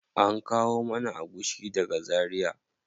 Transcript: An kawo mana agushi daga zaria.